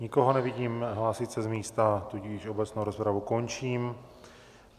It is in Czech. Nikoho nevidím hlásit se z místa, tudíž obecnou rozpravu končím.